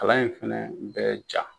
Kalan in fana bɛ ja.